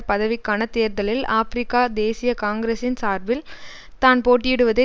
பதவிக்கான தேர்தலில் ஆபிரிக்க தேசிய காங்கிரஸின் சார்பில் தான் போட்டியிடுவதை